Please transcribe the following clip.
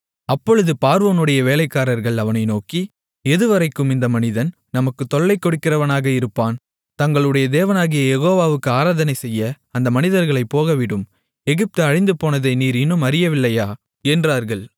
அப்பொழுது பார்வோனுடைய வேலைக்காரர்கள் அவனை நோக்கி எதுவரைக்கும் இந்த மனிதன் நமக்குத் தொல்லை கொடுக்கிறவனாக இருப்பான் தங்களுடைய தேவனாகிய யெகோவாவுக்கு ஆராதனைசெய்ய அந்த மனிதர்களைப் போகவிடும் எகிப்து அழிந்துபோனதை நீர் இன்னும் அறியவில்லையா என்றார்கள்